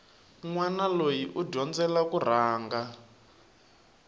nwana loyi u dyondzela kurhunga